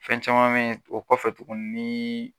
Fɛn caman mɛ o kɔfɛ tugun nii